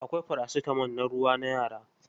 Akwai paracitamol na ruwa na yara.